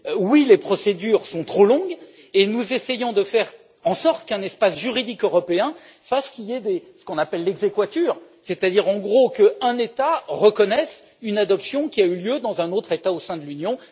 Oui, les procédures sont trop longues et nous essayons de faire en sorte qu'un espace juridique européen fasse qu'il y ait ce qu'on appelle l'exequatur, c'est à dire, en gros, qu'un État reconnaisse une adoption qui a eu lieu dans un autre État au sein de l'Union.